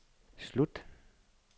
slut